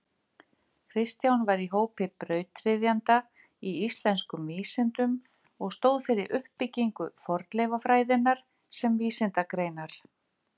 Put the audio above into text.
Kristján var í hópi brautryðjenda í íslenskum vísindum og stóð fyrir uppbyggingu fornleifafræðinnar sem vísindagreinar.